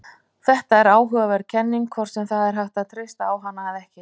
Þetta er áhugaverð kenning, hvort sem það er hægt að treysta á hana eða ekki.